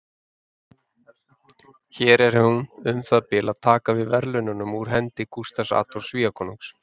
Hér er hún um það bil að taka við verðlaununum úr hendi Gústafs Adolfs Svíakonungs.